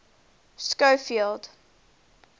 schofield